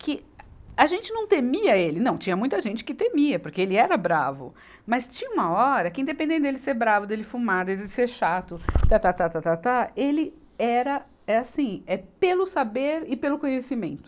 que a gente não temia ele, não, tinha muita gente que temia, porque ele era bravo, mas tinha uma hora que independente dele ser bravo, dele fumar, dele ser chato, tá, tá, tá, tá, tá, tá, ele era, é assim, é pelo saber e pelo conhecimento.